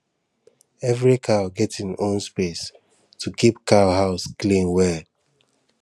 every cow get im own space to keep cow house clean well